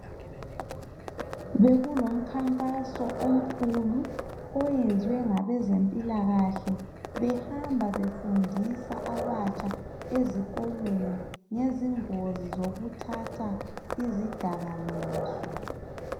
Bekulomkhankaso omkhulu, owenziwe ngabezempilakahle. Behamba befundisa abatsham ezikolweni, ngezingozi zokuthatha izidakamizwa.